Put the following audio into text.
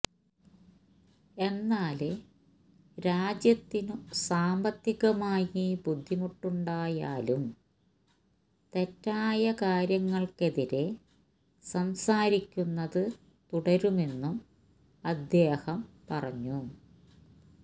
എന്നാല് രാജ്യത്തിനു സാമ്പത്തികമായി ബുദ്ധിമുട്ടുണ്ടായാലും തെറ്റായ കാര്യങ്ങള്ക്കെതിരെ സംസാരിക്കുന്നത് തുടരുമെന്നും അദ്ദേഹം പറഞ്ഞൂ